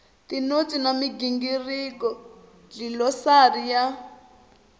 tinotsi na migingiriko dlilosari ya